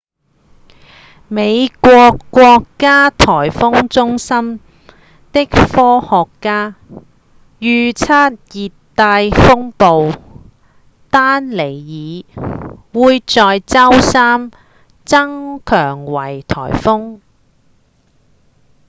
美國國家颶風中心的科學家預測熱帶風暴丹妮爾會在周三增強為颶風